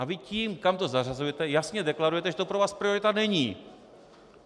A vy tím, kam to zařazujete, jasně deklarujete, že to pro vás priorita není.